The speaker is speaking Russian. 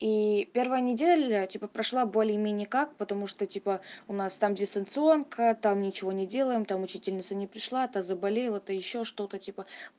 и первая неделя типа прошло более-менее как потому что типа у нас там дистанционка там ничего не делаем там учительница не пришла а то заболела то ещё что-то типа